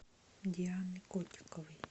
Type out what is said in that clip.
дианы котиковой